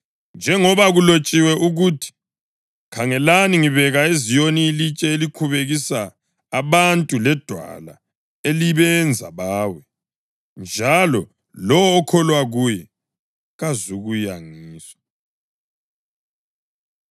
Njengoba kulotshiwe ukuthi: “Khangelani, ngibeka eZiyoni ilitshe elikhubekisa abantu ledwala elibenza bawe, njalo lowo okholwa kuye kazukuyangiswa.” + 9.33 U-Isaya 8.14; 28.16